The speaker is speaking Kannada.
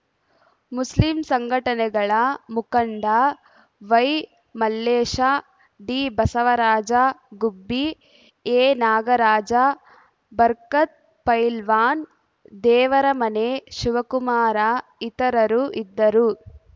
ಮುಸ್ಲಿಂ ಸಂಘಟನೆಗಳ ಮುಖಂಡ ವೈಮಲ್ಲೇಶ ಡಿಬಸವರಾಜ ಗುಬ್ಬಿ ಎನಾಗರಾಜ ಬರ್ಕತ್‌ ಪೈಲ್ವಾನ್‌ ದೇವರಮನೆ ಶಿವಕುಮಾರ ಇತರರು ಇದ್ದರು